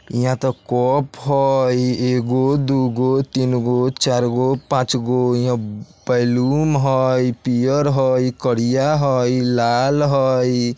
इहाँ त कप हई एगो दुगो तीनगो चारगो पाँचगो इहाँ बैलून हई पियर हई करिया हई लाल हई।